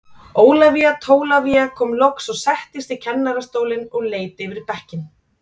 Ólafía Tólafía kom loks og settist í kennarastólinn og leit yfir bekkinn.